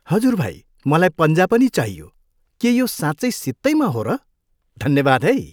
हजुर भाइ, मलाई पन्जा पनि चाहियो। के यो साँच्चै सित्तैँमा हो र? धन्यवाद है!